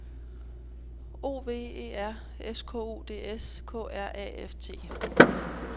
O V E R S K U D S K R A F T